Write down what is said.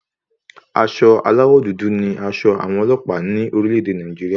Aṣọ aláwọ̀ dúdú ní aṣọ àwọn ọlọ́pàá ní orílẹ̀-ẹ̀dẹ̀ Nàìjírí.